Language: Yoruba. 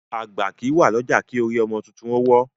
Agba kìí wa lọja ki orí ọmọ tuntun o wo